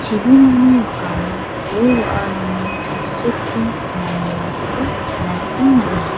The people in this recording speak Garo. chibimani rikamo bol-wa·arangni tangseke donganirangkoba nikna gita man·a.